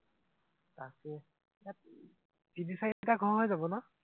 তাকেই তিনি চাৰিটা ঘৰ হৈ যাব ন?